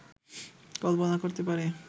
কল্পনা করতে পারি